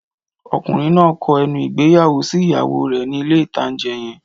Ọkùnrin náà kọ ẹnu ìgbéyàwó sí ìyàwó rẹ̀ ní ilé-ìtánjẹ yẹn